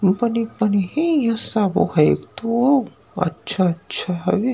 बनी-बनी हे इहा सब है तो अच्छा-अच्छा हवे।